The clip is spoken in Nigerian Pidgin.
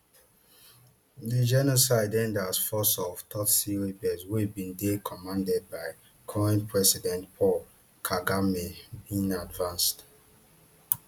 di genocide end as force of tutsi rebels wey bin dey commanded by current president paul kagame bin advance